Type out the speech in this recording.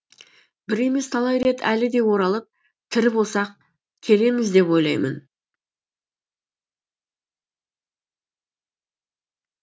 бір емес талай рет әлі де оралып тірі болсақ келеміз деп ойлаймын